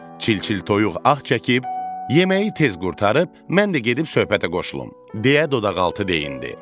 Çil-çil toyuq ah çəkib: Yeməyi tez qurtarıb, mən də gedib söhbətə qoşulum deyə dodaqaltı deyindi.